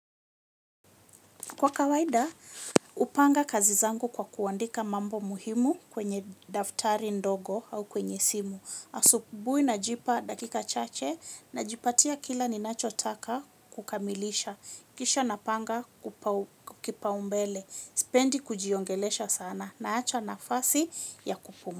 Kwa kawaida, upanga kazi zangu kwa kuandika mambo muhimu kwenye daftari ndogo au kwenye simu. Asubui najipa dakika chache najipatia kila ninacho taka kukamilisha. Kisha napanga kupa umbele. Spendi kujiongelesha sana na acha nafasi ya kupumua.